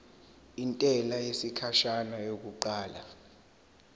intela yesikhashana yokuqala